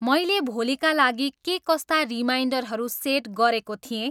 मैले भोलिका लागि के कस्ता रिमाइन्डरहरू सेट गरेको थिएँ?